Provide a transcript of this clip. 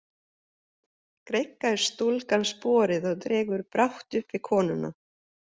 Greikkar stúlkan sporið og dregur brátt uppi konuna.